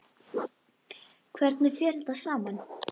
Hvernig fer þetta saman?